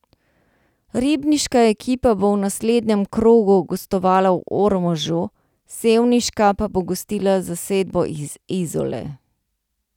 Ribniška ekipa bo v naslednjem krogu gostovala v Ormožu, sevniška pa bo gostila zasedbo iz Izole.